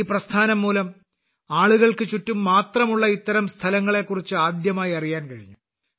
ഈ പ്രസ്ഥാനം മൂലം ആളുകൾക്ക് ചുറ്റും മാത്രമുള്ള ഇത്തരം സ്ഥലങ്ങളെക്കുറിച്ച് ആദ്യമായി അറിയാൻ കഴിഞ്ഞു